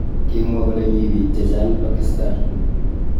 Kimwa kole mi bik. chechwak Pakisatan.